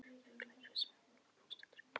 Fuglalífið sem er mér lokuð bók stendur í blóma.